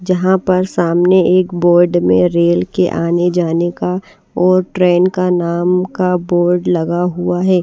जहां पर सामने एक बोर्ड में रेल के आने जाने का और ट्रेन के नाम का बोर्ड लगा हुआ है।